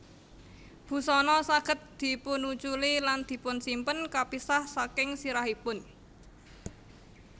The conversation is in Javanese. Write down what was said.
Busana saged dipunuculi lan dipunsimpen kapisah saking sirahipun